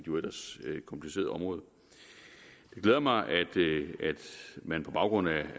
jo ellers kompliceret område det glæder mig at man på baggrund af